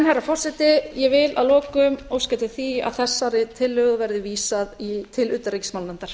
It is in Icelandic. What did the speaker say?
herra forseti ég vil að lokum óska eftir því að þessari tillögu verði vísað til